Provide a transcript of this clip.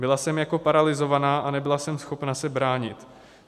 Byla jsem jako paralyzovaná a nebyla jsem schopna se bránit.